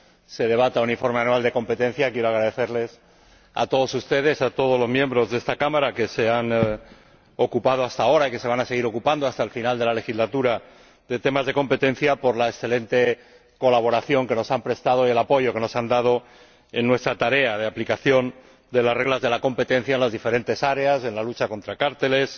se debata un informe anual de competencia, quiero agradecerles a todos ustedes —a todos los miembros de esta Cámara que se han ocupado hasta ahora y se van a seguir ocupando hasta el final de la legislatura de temas de competencia— la excelente colaboración que nos han prestado y el apoyo que nos han dado en nuestra tarea de aplicación de las reglas de la competencia en las diferentes áreas, en la lucha contra cárteles,